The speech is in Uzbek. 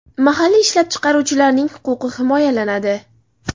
Mahalliy ishlab chiqaruvchilarning huquqi himoyalanadi.